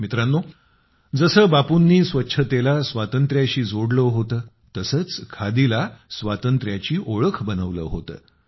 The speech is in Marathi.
मित्रांनो जसे बापूंनी स्वच्छतेला स्वातंत्र्याशी जोडले होते तसेच खादीला स्वातंत्र्याची ओळख बनवलं होतं